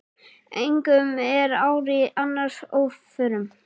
Engum er ár í annars óförum.